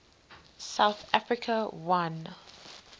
south africa won